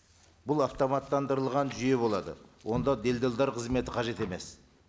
бұл автоматтандырылған жүйе болады онда делдалдар қызметі қажет емес